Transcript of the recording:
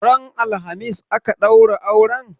Ran alhamis aka ɗaura auren?